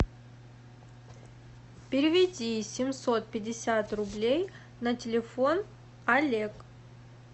переведи семьсот пятьдесят рублей на телефон олег